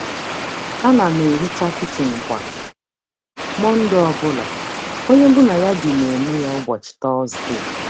Ana m ehicha kichin kwa Mọnde ọ bụla, onye mụ na ya bi na-eme ya ụbọchị Tọzdee.